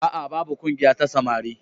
A'a, babu ƙungiya ta samari